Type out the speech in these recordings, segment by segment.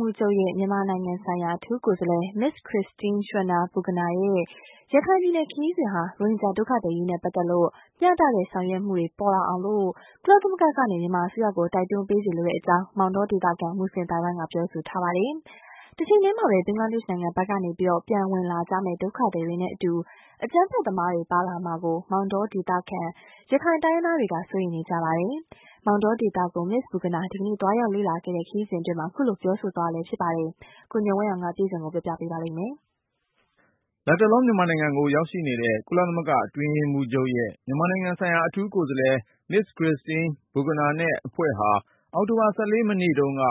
မှူးချုပ်ရဲ့ မြန်မာနိုင်ငံဆိုင်ရာ အထူးကိုယ်စားလှယ် Ms. Christine Schraner Burgener ရဲ့ ရခိုင်ပြည်နယ် ခရီးစဉ်ဟာ ရိုဟင်ဂျာဒုက္ခသည် အရေးနဲ့ပတ်သက်လို့ မျှတတဲ့ဆောင်ရွက်မှုတွေ ပေါ်လာအောင် ကုလသမဂ္ဂက မြန်မာအစိုးရကို တိုက်တွန်း ပေးစေလိုကြောင်း မောင်တောဒေသခံ မူဆလင်အသိုင်းဝိုင်းကပြောပါတယ်။ တချိန်ထဲမှာပဲ ဘင်္ဂလားဒေ့ရှ်နိုင်ငံဘက်ကနေ ပြန်ဝင်လာကြမယ့် ဒုက္ခသည်တွေနဲ့အတူ အကြမ်းဖက်သမားတွေ ပါလာမှာကို မောင်တောဒေသခံ ရခိုင်တိုင်းရင်းသားတွေက စိုးရိမ်နေကြပါတယ်။ မောင်တော ဒေသကို Ms. Burgener ဒီကနေ့ သွားရောက်လေ့လာတဲ့ ခရီးစဉ်အတွင်း အခုလို ပြောဆိုကြတာပါ။ ကိုဉာဏ်ဝင်းအောင်က စုစည်းတင်ပြ ထားပါတယ်။ လတ်တလော မြန်မာနိုင်ငံကို ရောက်နေတဲ့ ကုလအတွင်းရေးမှူးချုပ်ရဲ့ မြန်မာနိုင်ငံ အထူးကိုယ်စားလှယ် Ms. Christine Schraner Burgener နဲ့အဖွဲ့ဟာ အောက်တိုဘာ ၁၄ မနေ့တုန်းက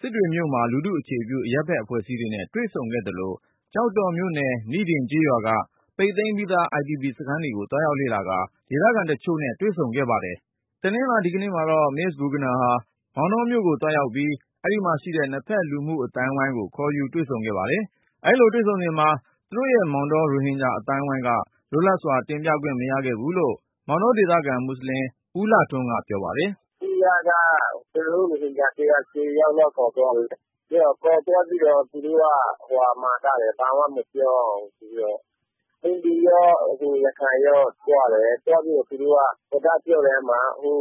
စစ်တွေမြို့မှာ လူထုအခြေပြု အရပ်ဘက်အဖွဲ့အစည်းတွေနဲ့ တွေ့ဆုံခဲ့သလို ကျောက်တော်မြို့နယ် နိဒင်ကျေးရွာက ပိတ်သိမ်းပြီးသား IDP စခန်းတွေကို သွားရောက်လေ့လာကာ ဒေသခံတချို့နဲ့ တွေ့ဆုံခဲ့ပါတယ်။ တနင်္လာ ဒီကနေ့မှာတော့ Ms. Burgener ဟာ မောင်တောမြို့ကိုသွားရောက်ပြီး အဲဒီမှာရှိတဲ့ နှစ်ဘက်လူမှုအသိုင်းအဝိုင်းကို ခေါ်ယူတွေ့ဆုံ ခဲ့ပါတယ်။ အဲဒီလိုတွေ့ဆုံစဉ်မှာ သူတို့ရဲ့ မောင်တော ရိုဟင်ဂျာအသိုင်းအဝိုင်းအနေနဲ့ လွတ်လပ်စွာ တင်ပြခွင့်မရခဲ့ဘူးလို့ မောင်တောဒေသခံ မူဆလင် ဦးလှထွန်းက ပြောပါတယ်။ "အစိုးရက ကျနော်တို့ ရိုဟင်ဂျာထဲက ၁၀ ယောက်လောက်ကို ခေါ်သွားတယ်။ ခေါ်သွားပြီးတော့ သူတို့ မှာထားတယ် ဘာမှ မပြောရဘူးဆိုပြီးတော့။ ဟိန္ဒူရော ရခိုင်ရောသွားတယ်။ စကားပြောတဲ့ အခါမှာ ဟို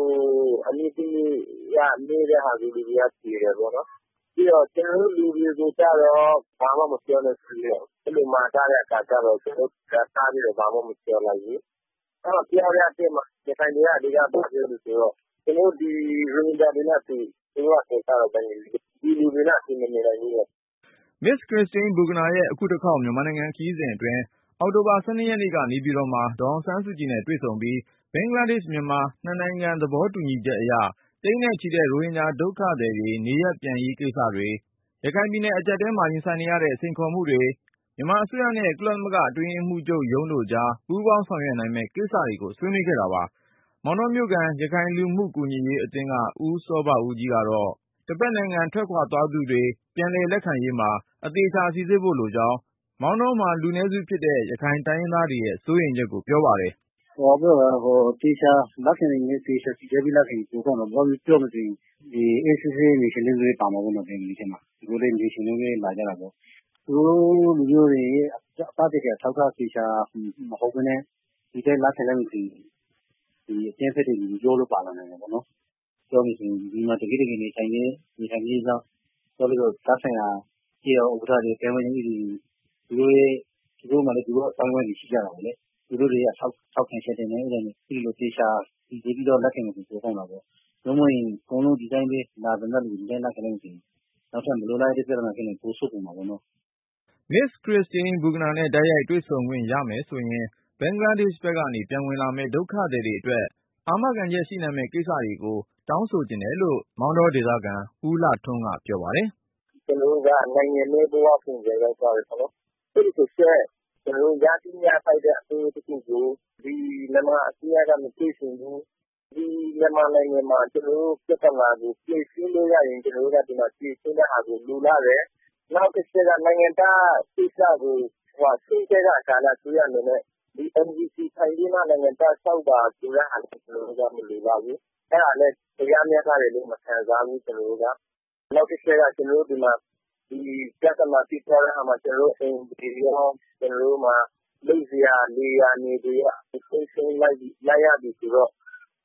အမျိုးသမီးက မေးတဲ့ဟာကို လူတွေက ဖြေတယ်ပေါ့နော်။ ပြီးတော့ ကျနော်တို့ လူတွေကိုကျတော့ ဘာမှမပြောနဲ့ ဆိုပြီးတော့ မှာထားတဲ့အခါကျတော့ ကျနော်တို့ ဘာမှမပြောလိုက်ဘူး။ အဲဒီတော့ တင်ပြတဲ့အထဲမှာ ရခိုင်တွေက ဘာပြောသလဲဆိုတော့ ကျနော်တို့ ရိုဟင်ဂျာတွေနဲ့အတူ.. သူတို့ကခေါ်တော့ ဘင်္ဂလီ.. ဒီလူတွေနဲ့အတူ မနေနိုင်ဘူးတဲ့။" Ms.Christine Burgener ရဲ့အခုတခေါက် မြန်မာနိုင်ငံခရီးစဉ်အတွင်း အောက်တိုဘာ ၁၂ ရက်နေ့ကနေပြည်တော်မှာ ဒေါ်အောင်ဆန်းစုကြည် နဲ့တွေ့ဆုံပြီး ဘင်္ဂလားဒေ့ရှ်-မြန်မာ နှစ်နိုင်ငံသဘောတူညီချက်အရ သိန်းနဲ့ချီတဲ့ ရိုဟင်ဂျာဒုက္ခသည်တွေ နေရပ်ပြန်ရေးကိစ္စတွေ၊ ရခိုင်ပြည်နယ် အကျပ်အတည်းမှာ ရင်ဆိုင်နေရတဲ့ စိန်ခေါ်မှုတွေ၊ မြန်မာအစိုးရနဲ့ ကုလသမဂ္ဂ အတွင်းရေးမှူးချုပ်ရုံးတို့ ပူးပေါင်းဆောင်ရွက် နိုင်မယ့်ကိစ္စ တွေကို ဆွေးနွေးခဲ့တာပါ။ မောင်တောမြို့ခံ ရခိုင်လူမှုကူညီရေးအသင်းက ဦးစောဘဦးကြီးကတော့ တဘက်နိုင်ငံထွက်သွားသူတွေ ပြန်လည်လက်ခံရာမှာ အသေချာ စိစစ်ဖို့လိုကြောင်း မောင်တောမှာ လူနည်းစုဖြစ်တဲ့ ရခိုင်တိုင်းရင်းသားတွေရဲ့ စိုးရိမ်ချက်ကို ပြောပါတယ်။ "သေချာစိစစ်ပြီး လက်ခံရင်တော့ ပိုကောင်းတာပေါ့။ ပြောမယ်ဆိုရင် အေးအေးဆေးဆေး နေချင်တာလည်း ပါမှာပေါ့ ဘင်္ဂလီထဲမှာ ၊ သူတို့လဲ နေချင်လို့လာကြတာပေါ့။ သူတို့တွေ သက်သေခံ အထောက်အထား သေချာမဟုတ်ပဲနဲ့ ဒီတိုင်း လက်ခံလိုက်မယ်ဆိုရင် အကြမ်းဖက်တဲ့လူတွေ ရောပြီးပါနိုင်တာပေါ့နော်။ ပြောမယ်ဆိုရင် တကယ့်တကယ်နေထိုင်ပြီး၊ နောက်ပြီးတော့ သက်ဆိုင်ရာ ကျေးရွာဥက္ကဋ္ဌတွေ၊ ပြီးတော့ သူတို့မှာလည်း သူတို့အသိုင်းအဝိုင်းတွေ ရှိကြတာပေါ့လေ။ သူတို့ရဲ့ ထောက်ခံချက်နဲ့ သေချာစိစစ်ပြီး လက်ခံမယ် ဆိုရင်တော့ ပိုကောင်းတာပေါ့။ နို့မဟုတ်ရင် အကုန်လုံး ဒီအတိုင်းပဲ လာသမျှလူတွေကို ဒီအတိုင်း လက်ခံလိုက်ရင် နောက်ထပ် မလိုလားအပ်တဲ့ ပြဿနာတွေဖြစ်လာရင် ပိုဆိုးကုန်မှာပေါ့နော်။" Ms.Christine Burgener နဲ့တိုက်ရိုက် တင်ပြခွင့်ရမယ်ဆိုရင် ဘင်္ဂလားဒေ့ရှ်ဘက်ကနေ ပြန်ဝင်လာမယ့် ဒုက္ခသည်အတွက် အာမခံရှိနိုင်မယ့် ကိစ္စတွေကို တောင်းဆိုချင်တယ်လို့ မောင်တောဒေသခံ ဦးလှထွန်းက ပြောပါတယ်။ "ကျနော်တို့က နိုင်ငံမဲ့ဘ၀ ပုံစံရောက်သွားတယ်ပေါ့နော်။ အဲဒီအတွက် ကျနော်တို့ ရသင့်ရထိုက်တဲ့ အခွင့်အရေးတခုကို ဒီမြန်မာအစိုးရက မပေးချင်ဘူး။ ဒီမြန်မာနိုင်ငံမှာ ကျနော်တို့ပြဿနာကို ဖြေရှင်းလို့ရရင် ကျနော်တို့က ဒီမှာဖြေရှင်းတာကို လိုလားတယ်။ နောက်တချက်က နိုင်ငံသားကိစ္စကို အစိုးရအနေနဲ့ ဒီNVC ကိုကိုင်ပြီးမှ လျှောက်ထားပါ ဆိုတာမျိုးကို ကျနော်တို့က မလိုလားဘူး။ အဲဒါလည်း တရားမျှတတယ်လို့ မခံစားရဘူး ကျနော်တို့က။ နောက်တချက်က ကျနော်တို့ ဒီမှာ ပြဿနာဖြစ်သွားတဲ့အခါမှာ ကျနော်တို့ရဲ့ အိမ်တွေရော လုပ်စားစရာ လယ်မြေတွေရော၊ အကုန် ဆုံးရှုံးလိုက်ရတယ်ဆိုတော့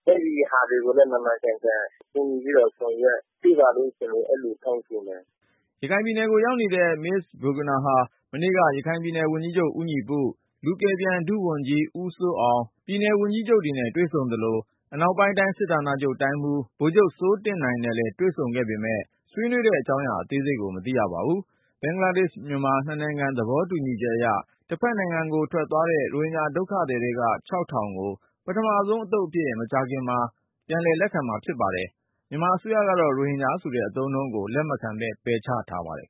အဲဒါတွေကိုလည်း မှန်မှန်ကန်ကန် ကူညီဆောင်ရွက်ပေးပါလို့ ကျနော်တို့ အဲလို တောင်းဆိုပါတယ်။" ရခိုင်ပြည်နယ်ကိုရောက်နေတဲ့ Ms.Christine Burgener ဟာ မနေ့က ရခိုင်ဝန်ကြီးချုပ် ဦးညီပု၊ လူကယ်ပြန် ဒုဝန်ကြီး ဦးစိုးအောင်၊ ပြည်နယ် ဝန်ကြီးတွေနဲ့ တွေ့ဆုံသလို၊ အနောက်ပိုင်းတိုင်း စစ်ဌာနချုပ်တိုင်းမှူး ဗိုလ်ချုပ် စိုးတင့်နိုင်နဲ့လည်း တွေ့ဆုံခဲ့ပေမယ့် ဆွေးနွေးတဲ့အကြောင်းရာ အသေးစိတ်ကို မသိရပါဘူး။ ဘင်္ဂလားဒေ့ရှ်-မြန်မာ နှစ်နိုင်ငံသဘောတူညီချက်အရ တဘက်နိုင်ငံကို ထွက်သွားတဲ့ ရိုဟင်ဂျာဒုက္ခသည်ထဲက ၆,၀၀၀ ကို ပထမအသုပ်အဖြစ် မကြာခင်မှာ ပြန်ဝင်လာဖို့ ရှိပါတယ်။ မြန်မာအစိုးရကတော့ ရိုဟင်ဂျာဆိုတဲ့အသုံးအနှုန်းကို လက်မခံ ပယ်ချ ထားပါတယ်